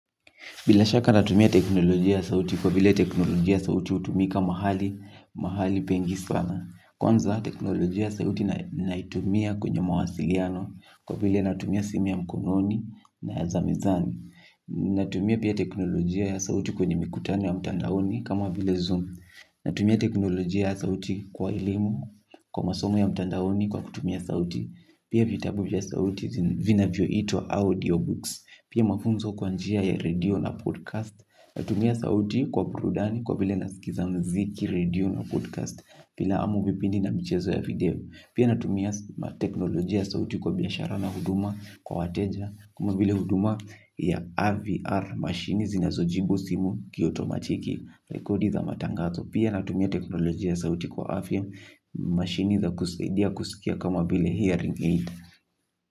Bila shaka natumia teknolojia ya sauti kwa vile teknolojia ya sauti utumika mahali pengi sana. Kwanza teknolojia ya sauti naitumia kwenye mawasiliano kwa vile natumia simu ya mkononi na ya za mezani. Natumia pia teknolojia ya sauti kwenye mikutano ya mtandaoni kama vile zoom. Natumia teknolojia ya sauti kwa elimu kwa masomo ya mtandaoni kwa kutumia sauti. Pia vitabu vya sauti vinavyoitwa audio books. Pia mafunzo kwa njia ya radio na podcast. Natumia sauti kwa purudani kwa vile nasikiza mziki radio na podcast Pilamu vipindi na michezo ya video. Pia natumia teknolojia ya sauti kwa biashara na huduma kwa wateja. Kama vile huduma ya RVR mashini zinazojibu simu kiotomatiki. Rekodi za matangazo pia natumia teknolojia ya sauti kwa AVM Machine za kusidia kusikia kama vile hearing aid.